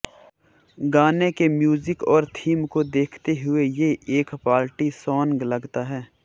गाने के म्यूजिक और थीम को देखते हुए ये एक पार्टी सॉन्ग लगता है